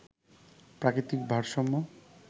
প্রাকৃতিক ভারসাম্য